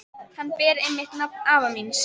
Hann ber einmitt nafn afa míns.